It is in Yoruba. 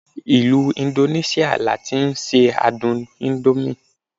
ilu Indonesia ni a ti n se adun indomie